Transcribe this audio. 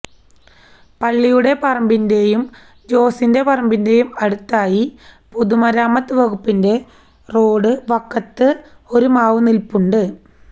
പള്ളിയുടെ പറമ്പിന്റെയും ജോസിന്റെ പറമ്പിന്റെയും അടുത്തായി പൊതുമരാമത്ത് വകുപ്പിന്റെ റോഡ് വക്കത്ത് ഒരുമാവ് നിൽപ്പുണ്ട്